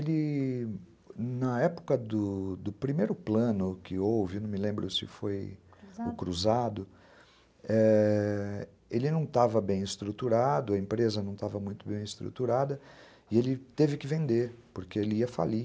Ele... Então, na época do primeiro plano que houve, não me lembro se foi o Cruzado, é... ele não estava bem estruturado, a empresa não estava muito bem estruturada, e ele teve que vender, porque ele ia falir.